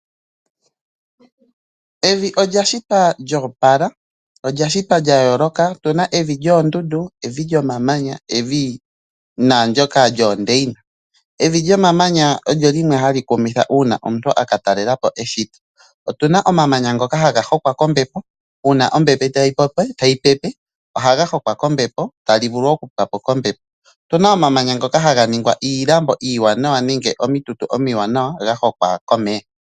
Evi olya shitwa lyo opala, olya shitwa lya yooloka. Otu na evi lyomamanya, evi lyoondundu naandyoka lyoondeina. Evi lyomamanya olyo limwe hali kumitha uuna omuntu a ka talela po eshito. Otu na omamanya ngoka haga hokwa kombepo, uuna ombepo tayi pepe, ohaga hokwa kombepo tali vulu okupwa po kombepo. Otu na omamanya ngoka haga ningwa iilambo iiwanawa nenge omitutu omiwanawa ga hokwa komeya.